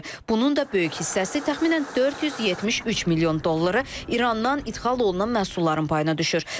Bunun da böyük hissəsi təxminən 473 milyon dolları İrandan ixal olunan məhsulların payına düşür.